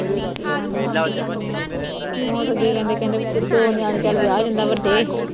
ਹੈ ਉਹ ਤੇ ਅੱਗੇ ਕਹਿੰਦੇ ਕਹਿੰਦੇ ਦੋ ਨਿਆਣੇ ਚੱਲ ਵਿਆਹ ਜਾਂਦਾ ਵੱਡੇ